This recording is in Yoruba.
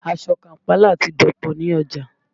Aṣọ Kàm̀pálà ti dọ̀pọ̀ ní ọjà